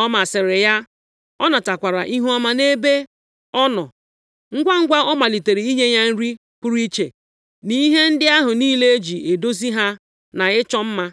Ọ masịrị ya, ọ natakwara ihuọma nʼebe ọ nọ. Ngwangwa ọ malitere inye ya nri pụrụ iche, na ihe ndị ahụ niile e ji edozi ahụ na ịchọ mma.